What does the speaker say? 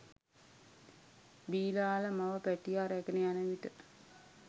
බිලාළ මව පැටියා රැගෙන යන විට